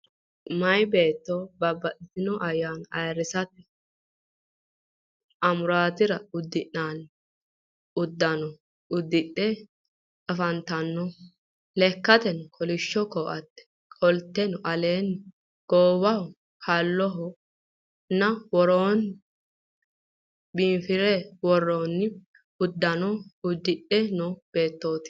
Meeya beetto babbaxitino ayyaana ayiirrisate amuraatira uddi'nanni uddano uddidhe afantanno. Lekkate kolishsho ko'atte qodhite, aleenni goowaho, halloho nna woroonni biinfillr worroonni uddano uddidhe no beettooti.